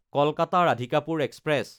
কলকাতা–ৰাধিকাপুৰ express